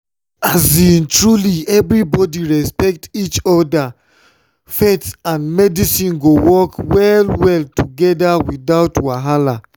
truly when everybody respect each other faith and medicine go work well-well together without wahala.